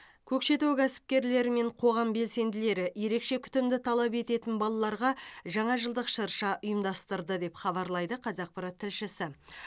көкшетау кәсіпкерлері мен қоғам белсенділері ерекше күтімді талап ететін балаларға жаңа жылдық шырша ұйымдастырды деп хабарлайды қазақпарат тілшісі